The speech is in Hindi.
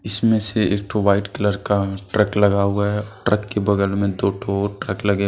इसमें से एक ठो व्हाइट कलर का ट्रक लगा हुआ हैं। ट्रक के बगल में दो ठो ट्रक लगे हुए--